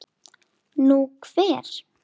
Nú, hver?